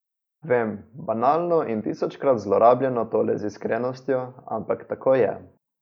Vem, banalno in tisočkrat zlorabljeno tole z iskrenostjo, ampak tako je.